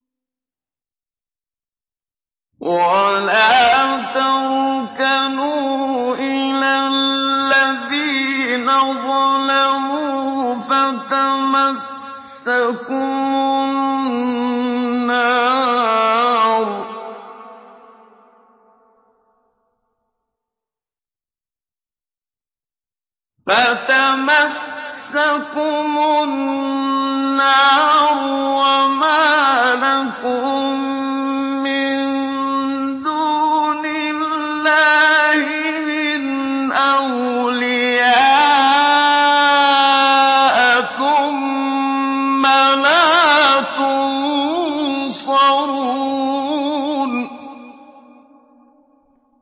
وَلَا تَرْكَنُوا إِلَى الَّذِينَ ظَلَمُوا فَتَمَسَّكُمُ النَّارُ وَمَا لَكُم مِّن دُونِ اللَّهِ مِنْ أَوْلِيَاءَ ثُمَّ لَا تُنصَرُونَ